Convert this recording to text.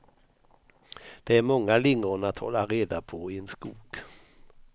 Det är många lingon att hålla reda på i en skog.